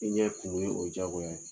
I ɲɛ finni o ye diyagoya ye.